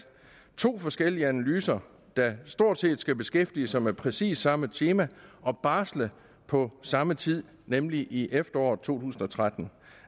to forskellige analyser der stort set skal beskæftige sig med præcis samme tema og barsle på samme tid nemlig i efteråret to tusind og tretten